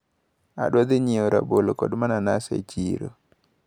Adwaro dhi nyiewo rabolo kod mananas e chiro.